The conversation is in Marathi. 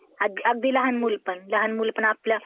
हो, बरोबर आहे. अगदी लहान मूल पण. लहान मूल पण आपल्या...